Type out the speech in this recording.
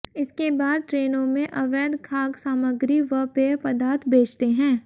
इसके बाद ट्रेनों में अवैध खाद्य सामग्री व पेय पदार्थ बेचते हैं